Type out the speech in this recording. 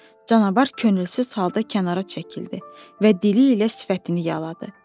Canavar könülsüz halda kənara çəkildi və dili ilə sifətini yaladı.